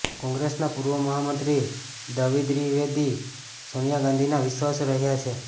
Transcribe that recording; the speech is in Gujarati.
કોંગ્રેસના પૂર્વ મહામંત્રી દ્વ્રિવેદી સોનિયા ગાંધીના વિશ્વાસુ રહ્યા છે